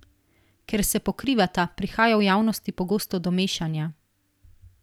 Ker se pokrivata, prihaja v javnosti pogosto do mešanja.